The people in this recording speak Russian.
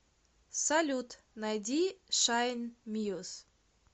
салют найди шайн мьюз